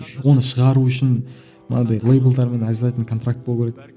оны шығару үшін мынадай лейблдермен обязательный контракт болу керек